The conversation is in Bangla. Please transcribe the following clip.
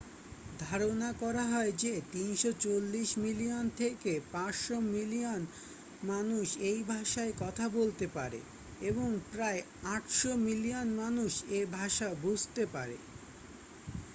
ধারণা করা হয় যে 340 মিলিয়ন থেকে 500 মিলিয়ন মানুষ এই ভাষায় কথা বলতে পারে এবং প্রায় 800 মিলিয়ন মানুষ এ ভাষা বুঝতে পারে